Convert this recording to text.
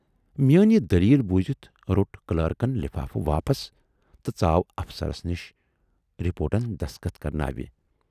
"میٲنۍ یہِ دٔلیٖل بوٗزِتھ روٹ کلٲرٕکن لِفافہٕ واپس تہٕ ژاو افسرس نِش رپوٹن دستخط کرناونہٕ۔